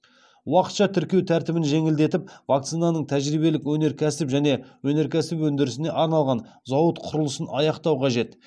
уақытша тіркеу тәртібін жеңілдетіп вакцинаның тәжірибелік өнеркәсіп және өнеркәсіп өндірісіне арналған зауыт құрылысын аяқтау қажет